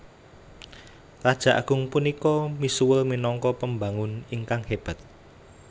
Raja agung punika misuwur minangka pembangun ingkang hébat